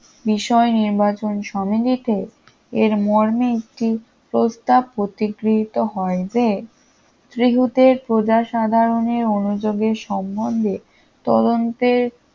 বিষয় নির্বাচন সমিতিতে এর মর্মে একটি প্রস্তাব প্রতিগৃহীত হয় যে ত্রিহুতের প্রজা সাধারণের অনুযোগের সম্বন্ধে তদন্তে